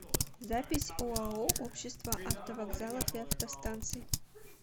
запись оао общество автовокзалов и автостанций